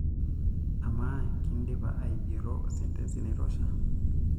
Amaa, kindipa aigero sentensi naitosha?